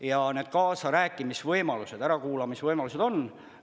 Ja need kaasarääkimise võimalused, ärakuulamise võimalused on.